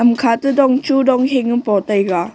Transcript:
kamkha te dong tho dong hing a po taiga.